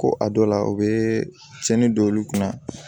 Ko a dɔ la o bɛ cɛnnin don olu kunna